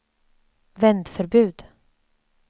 vändförbud